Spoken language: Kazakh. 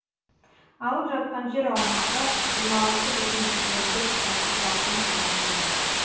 алып жатқан жер аумағы жиырма алты бүтін жүзден төрт шаршы шақырым шамасында